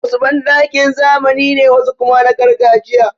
Wasu banɗakin zamani ne, wasu kuma na gargajiya.